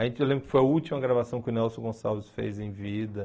A gente lembra que foi a última gravação que o Nelson Gonçalves fez em vida.